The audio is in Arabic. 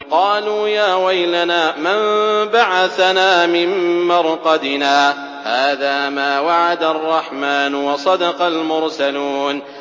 قَالُوا يَا وَيْلَنَا مَن بَعَثَنَا مِن مَّرْقَدِنَا ۜۗ هَٰذَا مَا وَعَدَ الرَّحْمَٰنُ وَصَدَقَ الْمُرْسَلُونَ